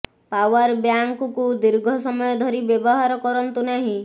power ବ୍ୟାଙ୍କକୁ ଦୀର୍ଘ ସମୟ ଧରି ବ୍ୟବହାର କରନ୍ତୁ ନାହିଁ